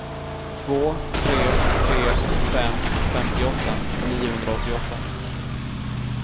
två tre tre fem femtioåtta niohundraåttioåtta